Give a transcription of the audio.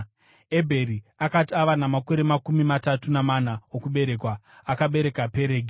Ebheri akati ava namakore makumi matatu namana okuberekwa, akabereka Peregi.